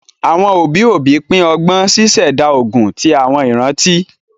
Àwọn òbí òbí pin ọgbọn, ṣíṣẹ̀dá ogún ti àwọn ìrántí